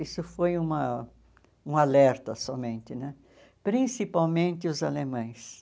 Isso foi uma um alerta somente né, principalmente os alemães.